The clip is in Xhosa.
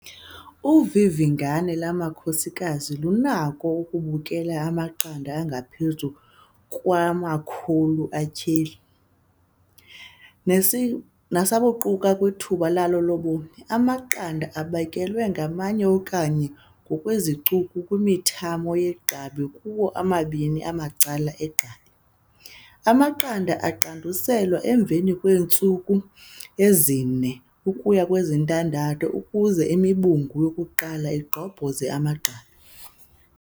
Uvivingane lwamakhomokazi lunako ukubekela amaqanda angaphezu kwe-100 atyheli, nasabuquka kwithuba lalo lobomi. Amaqanda abekelwa nganye okanye ngokwezicuku kwimithambo yegqabi kuwo omabini amacala egqabi. Amaqanda aqanduselwa emva kweentsuku ezi-4 ukuya kwezi-6 ukuze imibungu yokuqala igqobhoze amagqabi.